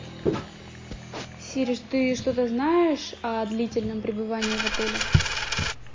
сири ты что то знаешь о длительном пребывании в отеле